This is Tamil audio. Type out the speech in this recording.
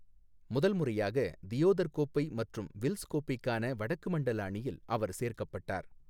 முதல் முறையாக தியோதர் கோப்பை மற்றும் வில்ஸ் கோப்பைக்கான வடக்கு மண்டல அணியில் அவர் சேர்க்கப்பட்டார்.